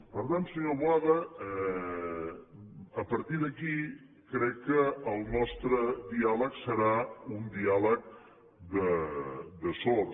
per tant senyor boada a partir d’aquí crec que el nostre diàleg serà un diàleg de sords